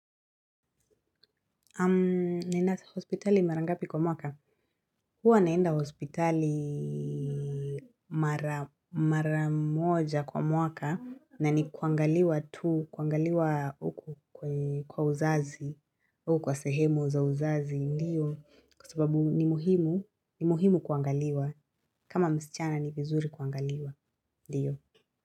Unaenda hospitali mara ngapi kwa mwaka, huwa naenda hospitali mara moja kwa mwaka na ni kuangaliwa tu, kuangaliwa huku kwa uzazi, huku kwa sehemu za uzazi, ndiyo, kwa sababu ni muhimu, ni muhimu kuangaliwa, kama msichana ni vizuri kuangaliwa, ndiyo.